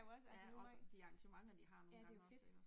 Også de arrangementer de har nogle gange også ikke også